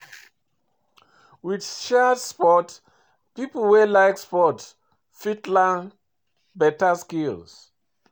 With shared sport pipo wey like sport fit learn better skills